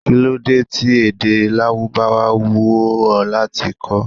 Kí ló dé tí èdè Lárúbáwá wù ó láti kó?